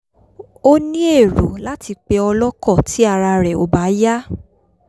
ó ní èrò láti pe o̩ló̩kò̩ tí ara rè̩ ò bá yá